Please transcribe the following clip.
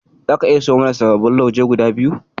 Zaka iya siyo mana sababbin lauje guda biyu.